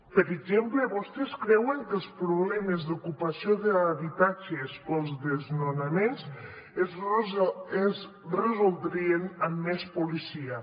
per exemple vostès creuen que els problemes d’ocupació d’habitatges o els desnonaments es resoldrien amb més policia